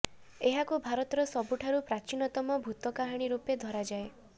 ଏହାକୁ ଭାରତର ସବୁଠାରୁ ପ୍ରାଚୀନତମ ଭୂତ କାହାଣୀ ରୂପେ ଧରାଯାଏ